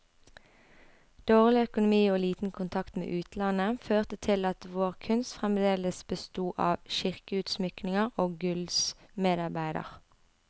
Dårlig økonomi og liten kontakt med utlandet, førte til at vår kunst fremdeles besto av kirkeutsmykninger og gullsmedarbeider.